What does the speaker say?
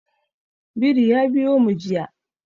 Biri ya biyo mu jiya.